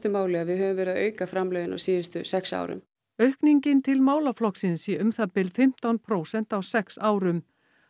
máli að við höfum verið að auka framlögin á síðustu sex árum aukningin til málaflokksins sé um það bil fimmtán prósent á sex árum